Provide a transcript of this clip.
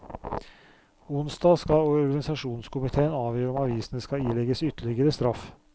Onsdag skal organisasjonskomitéen avgjøre om avisene skal ilegges ytterligere straff.